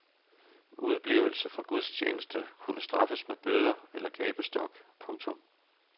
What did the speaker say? Udeblivelse fra gudstjeneste kunne straffes med bøder eller gabestok. punktum